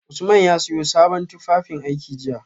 Usman ya siyo sabon tufafinaiki jiya